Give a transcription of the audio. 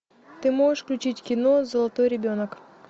ты можешь включить кино золотой ребенок